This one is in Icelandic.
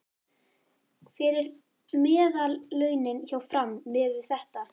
Hver eru meðallaunin hjá Fram miðað við þetta?